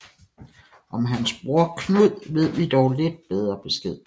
Om hans broder Knud ved vi dog lidt bedre besked